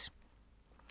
DR1